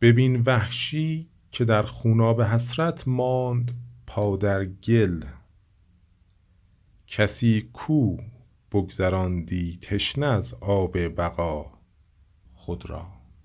ببین وحشی که در خوناب حسرت ماند پا در گل کسی کو بگذراندی تشنه از آب بقا خود را